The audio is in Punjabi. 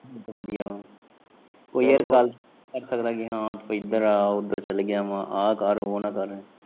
ਏ ਤਾਂ ਵਧੀਆ ਵਾ ਕੋਈ ਯਾਰ ਗੱਲ ਅੱਤ ਕਰਾਏ ਕਿ ਹਾਂ ਤੂੰ ਇੱਧਰ ਆ ਉੱਧਰ ਚੱਲ ਗਿਆ ਵਾ ਆ ਕਰ ਉਹ ਨਾ ਕਰ।